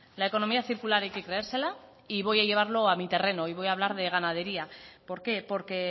la economía circular hay que creérsela y voy a llevarlo a mi terreno y voy a hablar de ganadería por qué porque